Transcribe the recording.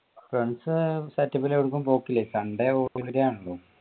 friends setup ൽ എവ്ടുക്കും പോക്കില്ലേ sunday